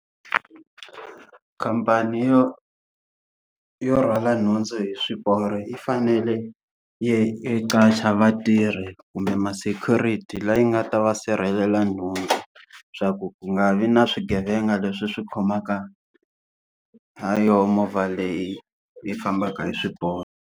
Khamphani yo yo rhwala nhundzu hi swiporo yi fanele yi yi qasha vatirhi kumbe ma-security leyi nga ta va sirhelela nhundzu swa ku ku nga vi na swigevenga leswi swi khomaka ha yona movha leyi yi fambaka hi swiporo.